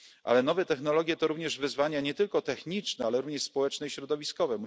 Ale nowe technologie to również wyzwania nie tylko techniczne, ale również społeczne i środowiskowe.